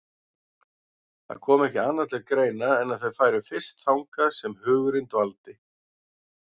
Það kom ekki annað til greina en að þau færu fyrst þangað sem hugurinn dvaldi.